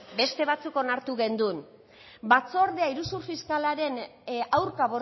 beste batzuk onartu genuen batzordea iruzur fiskalaren aurka